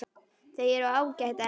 Þau eru ágæt en.